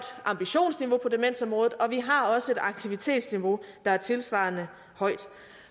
ambitionsniveau på demensområdet og vi har også et aktivitetsniveau der er tilsvarende højt